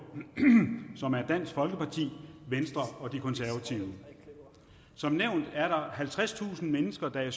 som er dansk folkeparti venstre og de konservative som nævnt er halvtredstusind mennesker i